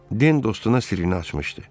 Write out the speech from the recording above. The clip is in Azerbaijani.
Den dostuna sirrini açmışdı.